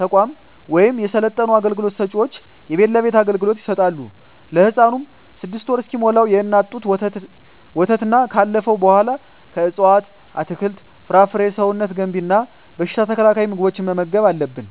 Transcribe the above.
ተቋማት ወይም የሰለጠኑ አገልግሎት ሰጭዎች የቤት ለቤት አገልግሎት ይሰጣሉ። ለህፃኑም 6ወር እስኪሞላው የእናት ጡት ወተትና ካለፈው በኃላ ከእፅዋት አትክልት፣ ፍራፍሬ ሰውነት ገንቢ እና በሽታ ተከላካይ ምግቦችን መመገብ አለብን